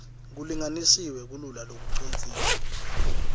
kulinganisiwe kululwa lokucondzile